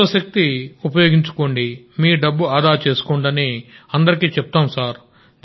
సౌరశక్తి ఉపయోగించుకోండిమీ డబ్బు ఆదా చేసుకోండి అని అందరికీ చెప్తాం సార్